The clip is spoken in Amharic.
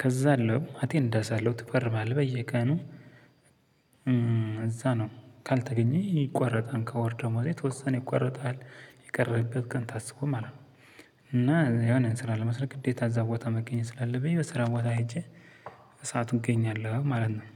ከዛ አለው አቴንዳ ሳለው ትፈርማለህ በየቀኑ እዛ ነው ካልተገኘ ይቆረጣል ከወር ደሞዜ የተወሰነ ይቆረጣል የቀረህበት ቀን ታስቦ ማለት። እና የሆነን ስራ ለመስራት ግዴታ እዛ ቦታ መገኘት ስላለብኝ በስራ ቦታ ሄጄ። በሰአቱ እገኛለሁ ማለት ነው።